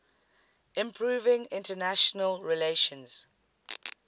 improving international relations